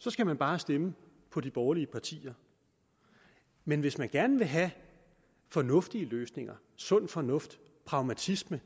så skal man bare stemme på de borgerlige partier men hvis man gerne vil have fornuftige løsninger sund fornuft pragmatisme